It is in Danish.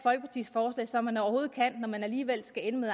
og talt så man overhovedet kan når man alligevel skal ende med